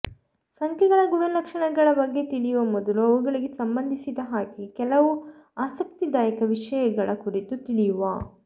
ಸಂಖ್ಯೆಗಳ ಗುಣಲಕ್ಷಣಗಳ ಬಗ್ಗೆ ತಿಳಿಯುವ ಮೊದಲು ಅವುಗಳಿಗೆ ಸಂಬಂಧಿಸಿದ ಹಾಗೆ ಕೆಲವು ಆಸಕ್ತಿದಾಯಕ ವಿಷಯಗಳ ಕುರಿತು ತಿಳಿಯುವಾ